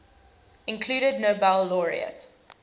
included nobel laureate